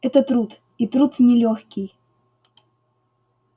это труд и труд нелёгкий